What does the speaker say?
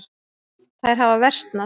Þær hafa versnað.